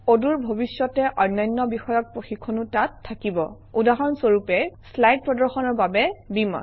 অদূৰ ভৱিষ্যতে অন্যান্য বিষয়ক প্ৰশিক্ষণো তাত থাকিব উদাহৰণ স্বৰূপে শ্লাইড প্ৰদৰ্শনৰ বাবে beamer